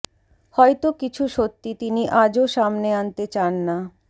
হয়তো কিছু সত্যি তিনি আজও সামনে আনতে চান না